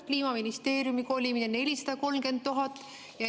Kliimaministeeriumi kolimiseks on 430 000.